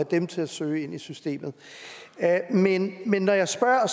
dem til at søge i systemet men når jeg spørger